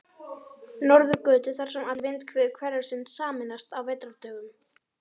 Norðurgötu, þar sem allar vindhviður hverfisins sameinast á vetrardögum.